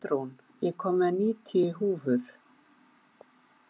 Pétrún, ég kom með níutíu húfur!